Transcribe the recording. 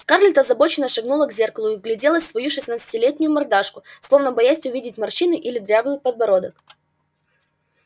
скарлетт озабоченно шагнула к зеркалу и вгляделась в свою шестнадцатилетнюю мордашку словно боясь увидеть морщины или дряблый подбородок